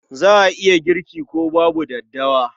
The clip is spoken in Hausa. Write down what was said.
Za a iya girki ko babu daddawa.